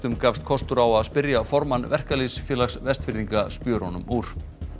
gafst kostur á að spyrja formann Verkalýðsfélags Vestfirðinga spjörunum úr